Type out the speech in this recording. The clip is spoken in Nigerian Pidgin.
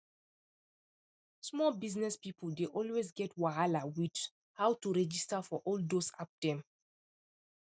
small business people dey always get wahala with how to registar for all those app dem